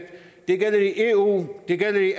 det gælder i eu det gælder i